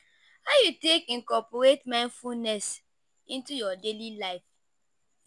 how you dey take incorporate mindfulness into your daily life?